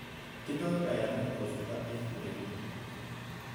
Tindoi kayanet kosuldo eng ureriet